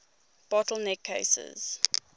bottle neck cases